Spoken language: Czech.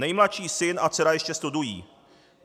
Nejmladší syn a dcera ještě studují.